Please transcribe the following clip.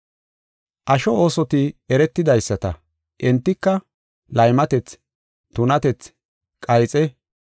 Asho oosoti eretidaysata; entika, laymatethi, tunatethi, qayxe,